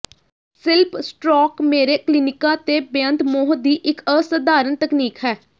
ਸਿਲਪ stroke ਮੇਰੇ ਕਲੀਨਿਕਾਂ ਤੇ ਬੇਅੰਤ ਮੋਹ ਦੀ ਇੱਕ ਅਸਾਧਾਰਨ ਤਕਨੀਕ ਹੈ